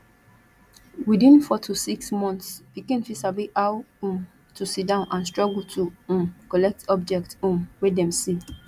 within four to six months pikin fit sabi how um to sitdown and struggle to um collect objects um wey dem see